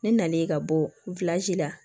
Ne nalen ka bɔ la